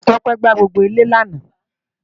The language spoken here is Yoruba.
Tope gbàá gbógbó ilè làná